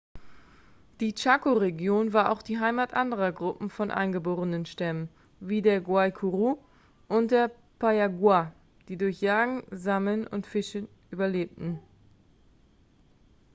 die chaco-region war auch die heimat anderer gruppen von eingeborenenstämmen wie der guaycurú und der payaguá die durch jagen sammeln und fischen überlebten.x